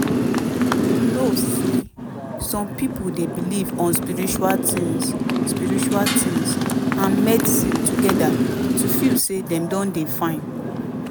you know say some pipo dey belief on spiritual tins spiritual tins and medicine together to feel say dem don dey fine